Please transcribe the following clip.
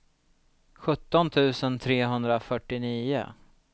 sjutton tusen trehundrafyrtionio